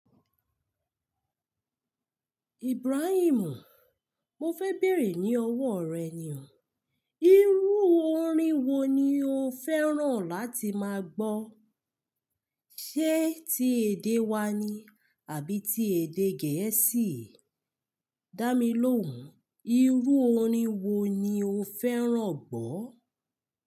Ibrahim, mo fẹ béèrè ní ọwọ́ rẹ ni o. Irú orin wo ni o fẹ́ràn láti máa gbọ́? Ṣé ti èdè wa ni àbí ti èdè gẹ̀ẹ́sì? Dámilóhùn, irú orin wo ni o fẹ́ràn gbọ́?